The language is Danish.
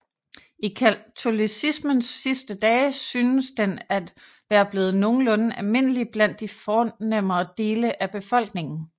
I katolicismens sidste dage synes den at være blevet nogenlunde almindelig blandt de fornemmere dele af befolkningen